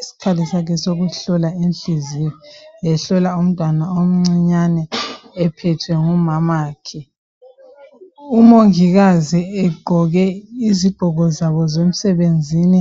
Isikhali sakhe sokuhlola inhliziyo ehlolwa umntwana omncinyane ephethwe ngunina umongikazi egqoke izigqoko zabo zemsebenzini